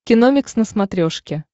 киномикс на смотрешке